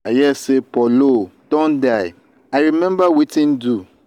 i hear say paul o don die i remember wetin do.